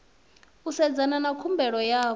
u sedzana na khumbelo yavho